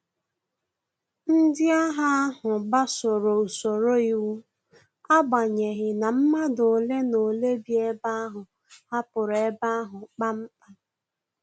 Ndị agha ahu gbasoro usoro iwu, agbanyeghi na madu ole na ole bi ebe ahụ hapụrụ ebe ahu kpam kpam